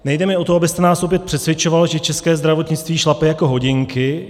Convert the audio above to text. Nejde mi o to, abyste nás opět přesvědčoval, že české zdravotnictví šlape jako hodinky.